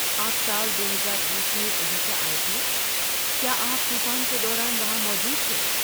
آپ سال دوہزار بیس میں اوڈیشہ آئے تھے، کیا آپ طوفان کے دوران وہاں موجود تھے؟